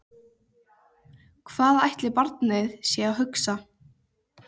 Hvað ætli barnið sé að hugsa?